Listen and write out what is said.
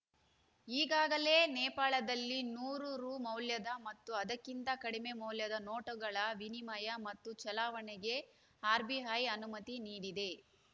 ಈಗಾಗಲೇ ನೇಪಾಳದಲ್ಲಿ ನೂರು ರು ಮೌಲ್ಯದ ಮತ್ತು ಅದಕ್ಕಿಂತ ಕಡಿಮೆ ಮೌಲ್ಯದ ನೋಟುಗಳ ವಿನಿಮಯ ಮತ್ತು ಚಲಾವಣೆಗೆ ಆರ್‌ಬಿಐ ಅನುಮತಿ ನೀಡಿದೆ